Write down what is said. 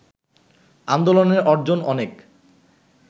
আন্দোলনের অর্জন অনেক